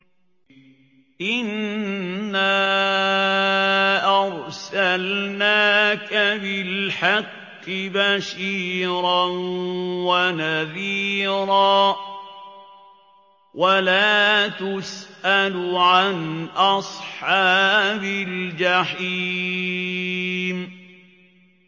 إِنَّا أَرْسَلْنَاكَ بِالْحَقِّ بَشِيرًا وَنَذِيرًا ۖ وَلَا تُسْأَلُ عَنْ أَصْحَابِ الْجَحِيمِ